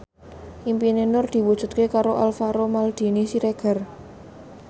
impine Nur diwujudke karo Alvaro Maldini Siregar